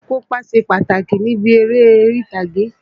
Akópa ṣe pàtàkì níbi eré orí-ìtàgé